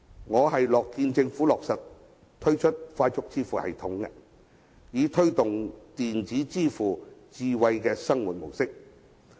我樂見政府推出快速支付系統，以推動電子支付的智慧生活模式。